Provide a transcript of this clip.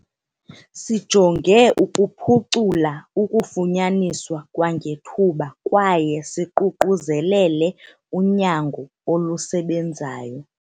"Sijonge ukuphucula ukufunyaniswa kwangethuba kwaye siququzelele unyango olusebenzayo."